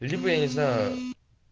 либо я не знаю